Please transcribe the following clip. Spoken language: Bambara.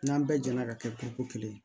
N'an bɛɛ jɛra ka kɛ ko ko kelen ye